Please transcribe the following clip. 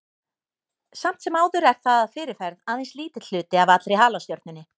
Samt sem áður er það að fyrirferð aðeins lítill hluti af allri halastjörnunni.